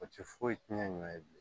O tɛ foyi tiɲɛ ɲɔn ye bilen